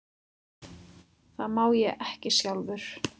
Það má ég ekki sjálfur.